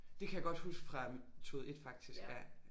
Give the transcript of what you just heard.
Det kan jeg godt huske fra metode 1 faktisk ja